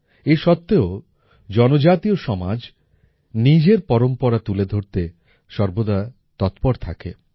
এ সত্ত্বেও জনজাতীয় সমাজ নিজের পরম্পরা তুলে ধরতে সর্বদা তৎপর থাকে